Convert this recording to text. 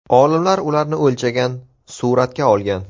Olimlar ularni o‘lchagan, suratga olgan.